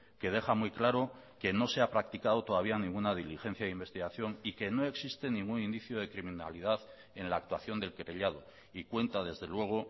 que deja muy claro que no se ha practicado todavía ninguna diligencia de investigación y que no existe ningún indicio de criminalidad en la actuación del querellado y cuenta desde luego